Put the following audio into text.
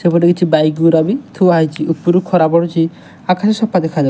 ସେପଟେ କିଛି ବାଇକ ଗୁରା ବି ଥୁଆ ହେଇଚି। ଉପୁରୁ ଖରା ପଡୁଚି। ଆକାଶ ସଫା ଦେଖାଯାଉ --